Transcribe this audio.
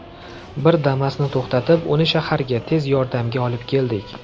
Bir Damas’ni to‘xtatib, uni shaharga, ‘tez yordam’ga olib keldik.